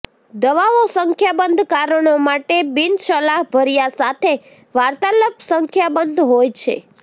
દવાઓ સંખ્યાબંધ કારણો માટે બિનસલાહભર્યા સાથે વાર્તાલાપ સંખ્યાબંધ હોય છે